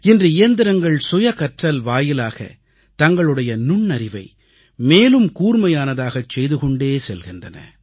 இன்று இயந்திரங்கள் இயந்திரங்கள் வாயிலாக தங்களுடைய நுண்ணறிவை மேலும் கூர்மையானதாகச் செய்து கொண்டே செல்கின்றன